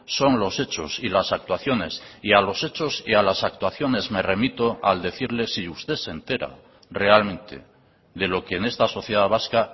son los hechos y las actuaciones y a los hechos y a las actuaciones me remito al decirle si usted se entera realmente de lo que en esta sociedad vasca